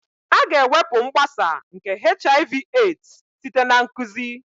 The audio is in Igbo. A ga-ewepụ mgbasa nke HIV/AIDS site na nkụzi